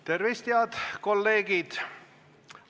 Tervist, head kolleegid!